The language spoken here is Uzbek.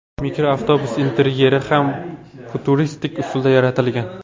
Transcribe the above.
Mikroavtobus interyeri ham futuristik usulda yaratilgan.